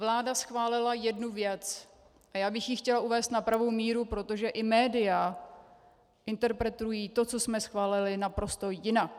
Vláda schválila jednu věc a já bych ji chtěla uvést na pravou míru, protože i média interpretují to, co jsme schválili, naprosto jinak.